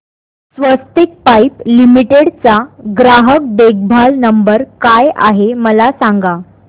स्वस्तिक pipe limited चा ग्राहक देखभाल नंबर काय आहे मला सांगा